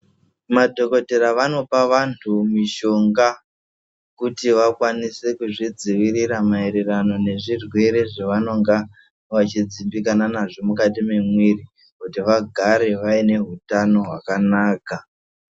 Madhokodheya vanopa vanhu mishonga kuti vakwanise kuzvidzivirira maererano nezvirwere zvavanenge vachidzimbikana nazvo mukati mwemwiri kuti vagare vaine utano hwakanaka.